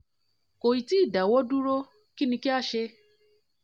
kò ì tí ì tí ì dáwọ́ dúró kí ni kí a ṣe?